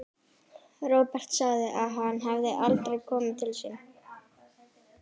Róbert sagði að hann hefði aldrei komið til sín.